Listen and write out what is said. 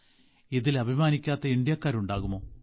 ഇതിൽ അഭിമാനിക്കാത്ത ഇന്ത്യാക്കാരുണ്ടാകുമോ